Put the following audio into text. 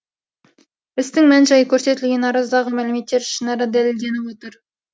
істің мән жайы көрсетілген арыздағы мәліметтер ішінара дәлелденіп отыр